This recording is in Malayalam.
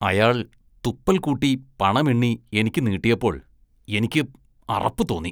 അയാള്‍ തുപ്പല്‍ കൂട്ടി പണം എണ്ണി എനിക്ക് നീട്ടിയപ്പോള്‍ എനിക്ക് അറപ്പ് തോന്നി.